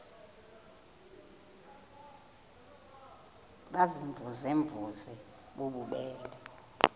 baziimvuze mvuze bububele